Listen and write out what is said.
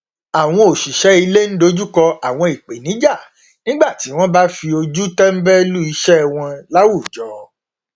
àwọn òṣìṣẹ ilé n dojúkọ àwọn ìpènijà nígbà tí wọn bá fi ojú tẹnbẹlú iṣẹ wọn láwùjọ